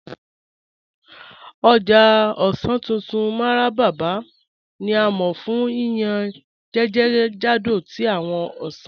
Ọ̀já ọ̀ṣàn tuntun Mararaba ni a mọ fun yíyàn jẹ́kẹ́jàdó tí awọn ọ̀ṣàn